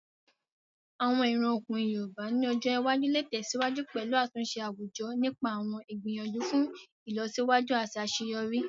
Àwọn ìran ọkùnrin yoòbá ní ọjọ́ iwájú lè tẹ̀síwájú pẹ̀lú àtúnṣe àwùjọ nípa àwọn ìgbìyànjú fún ìlọsíwájú àti àṣeyọrí